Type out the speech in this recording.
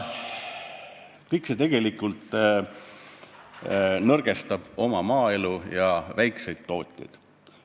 Kõik see tegelikult nõrgestab meie maaelu ja väikseid tootjaid.